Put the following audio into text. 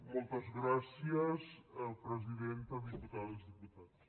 moltes gràcies presidenta diputades diputats